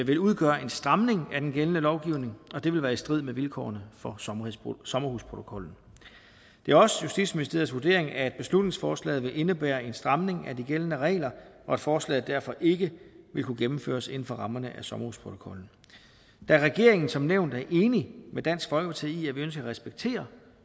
vil udgøre en stramning af den gældende lovgivning og det vil være i strid med vilkårene for sommerhusprotokollen det er også justitsministeriets vurdering at beslutningsforslaget vil indebære en stramning af de gældende regler og at forslaget derfor ikke vil kunne gennemføres inden for rammerne af sommerhusprotokollen da regeringen som nævnt er enig med dansk folkeparti i at vi ønsker at respektere